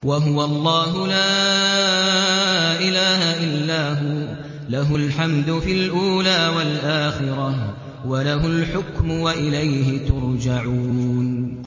وَهُوَ اللَّهُ لَا إِلَٰهَ إِلَّا هُوَ ۖ لَهُ الْحَمْدُ فِي الْأُولَىٰ وَالْآخِرَةِ ۖ وَلَهُ الْحُكْمُ وَإِلَيْهِ تُرْجَعُونَ